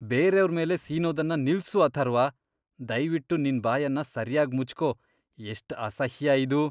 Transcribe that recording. ಬೇರೆಯವ್ರ್ ಮೇಲೆ ಸೀನೋದನ್ನ ನಿಲ್ಸು ಅಥರ್ವ. ದಯ್ವಿಟ್ಟು ನಿನ್ ಬಾಯನ್ನ ಸರ್ಯಾಗ್ ಮುಚ್ಕೋ. ಎಷ್ಟ್ ಅಸಹ್ಯ ಇದು!